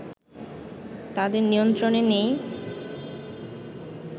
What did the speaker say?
তাদের নিয়ন্ত্রনে নেই